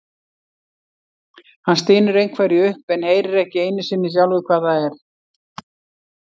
Hann stynur einhverju upp en heyrir ekki einu sinni sjálfur hvað það er.